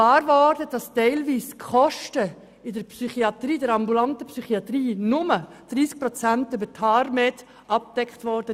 Wir merkten, dass teilweise nur 30 Prozent der Kosten in der ambulanten Psychiatrie über TARMED abgedeckt wurden.